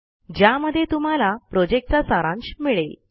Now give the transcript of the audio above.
ज्यामध्ये तुम्हाला प्रॉजेक्टचा सारांश मिळेल